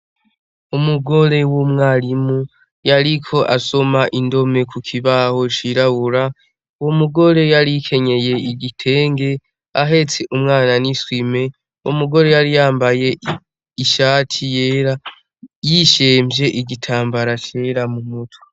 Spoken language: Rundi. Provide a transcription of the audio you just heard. Umugore w' umwarimu yariko asoma indome kukibaho cirabura umugore yari akenyeye igitenge ahetse umwana n'isume umugore yari yambaye ishati yera yisemvye igitambara cera mumutwe.